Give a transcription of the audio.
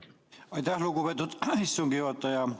Aitäh, lugupeetud istungi juhataja!